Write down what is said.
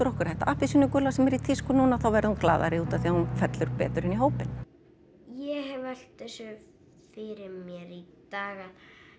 okkar þetta appelsínugula sem er í tísku núna þá verði hún glaðari út af því að hún fellur betur inn í hópinn ég hef velt þessu fyrir mér í dag að